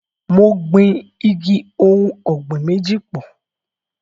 Mo gbin igi ohùn ọ̀gbìn méjì pọ̀.